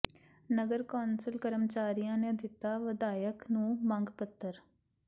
ਨਗਰ council ਕਰਮਚਾਰੀਆਂ ਨੇ ਦਿੱਤਾ ਵਿਧਾਇਕ ਨੂੰ ਮੰਗ ਪੱਤਰ